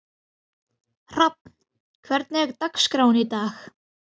Hrafn, hvernig er dagskráin í dag?